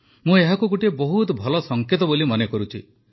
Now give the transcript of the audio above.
ମୁଁ ଏହାକୁ ଗୋଟିଏ ବହୁତ ଭଲ ସଙ୍କେତ ବୋଲି ମନେ କରୁଛି